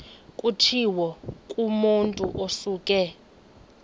kutshiwo kumotu osuke